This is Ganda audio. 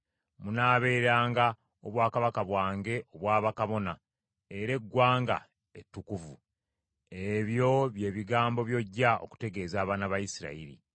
Munaabeeranga obwakabaka bwange obwa bakabona, era eggwanga ettukuvu.’ Ebyo bye bigambo by’ojja okutegeeza abaana ba Isirayiri.”